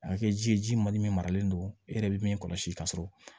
A kɛ ji ye ji mali min maralen don e yɛrɛ bɛ min kɔlɔsi ka sɔrɔ